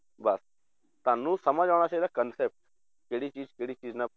ਬਸ ਤੁਹਾਨੂੰ ਸਮਝ ਆਉਣਾ ਚਾਹੀਦਾ concept ਕਿਹੜੀ ਚੀਜ਼ ਕਿਹੜੀ ਚੀਜ਼ ਨਾਲ